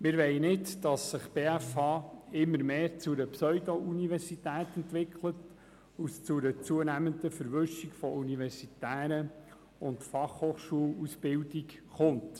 Wir wollen nicht, dass sich die BFH zu einer Pseudo-Universität entwickelt und es zu einer zunehmenden Verwischung der universitären und der FH-Ausbildung kommt.